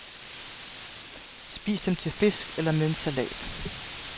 Spis dem til fisk, eller med en salat.